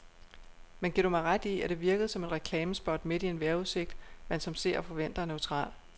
Men giver du mig ret i, at det virkede som et reklamespot midt i en vejrudsigt, man som seer forventer er neutral.